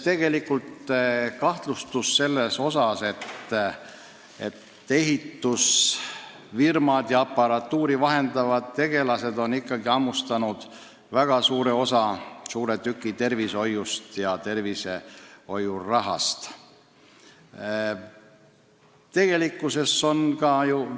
Tegelikult on ikkagi kahtlus, et ehitusfirmad ja aparatuuri vahendavad tegelased on hammustanud väga suure tüki tervishoiupirukast, saades märkimisväärse osa tervishoiu rahast.